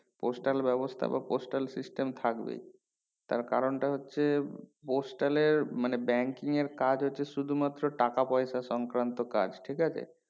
postal ব্যাবস্তা বা postal system থাকবেই তার কারণটা হচ্ছে postal এর মানে banking এর কাজ হচ্ছে শুধু মাত্র টাকা পয়সা সংক্রান্ত কাজ ঠিক আছে